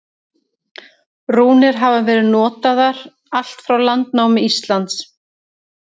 Rúnir hafa verið notaðar allt frá landnámi Íslands.